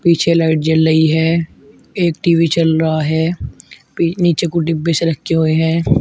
पीछे लाइट जल रही है एक टी_वी चल रहा है नीचे कुछ डिब्बे से रखे हुए हैं।